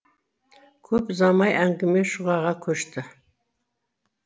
көп ұзамай әңгіме шұғаға көшті